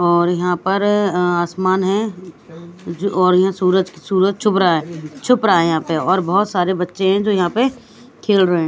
और यहां पर अ आसमान है जो और यहां सूरज सूरज चुभ रहा छुप रहा है यहां पे और बहुत सारे बच्चे हैं जो यहां पे खेल रहे हैं।